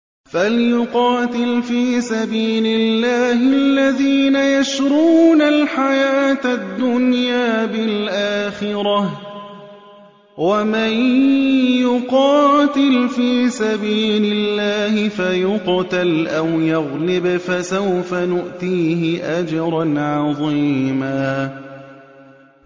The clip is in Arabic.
۞ فَلْيُقَاتِلْ فِي سَبِيلِ اللَّهِ الَّذِينَ يَشْرُونَ الْحَيَاةَ الدُّنْيَا بِالْآخِرَةِ ۚ وَمَن يُقَاتِلْ فِي سَبِيلِ اللَّهِ فَيُقْتَلْ أَوْ يَغْلِبْ فَسَوْفَ نُؤْتِيهِ أَجْرًا عَظِيمًا